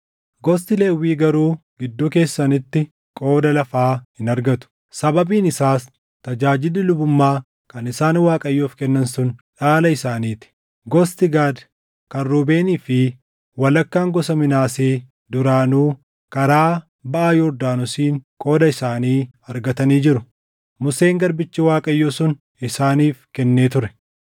Gosti Lewwii garuu gidduu keessanitti qooda lafaa hin argatu; sababiin isaas tajaajilli lubummaa kan isaan Waaqayyoof kennan sun dhaala isaanii ti. Gosti Gaad, kan Ruubeenii fi walakkaan gosa Minaasee duraanuu karaa baʼa Yordaanosiin qooda isaanii argatanii jiru. Museen garbichi Waaqayyoo sun isaaniif kennee ture.”